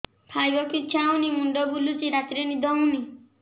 ଖାଇବାକୁ ଇଛା ହଉନି ମୁଣ୍ଡ ବୁଲୁଚି ରାତିରେ ନିଦ ହଉନି